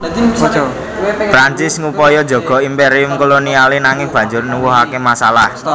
Prancis ngupaya njaga imperium kolonialé nanging banjur nuwuhaké masalah